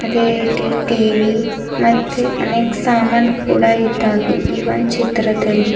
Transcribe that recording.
ಅದೇ ಟಿ_ವಿ ಮತ್ತೆ ಅನೇಕ್ ಸಮಾನ್ ಕೂಡ ಇದ್ದಾವೆ ಈ ಒಂದ್ ಚಿತ್ರದಲ್ಲಿ.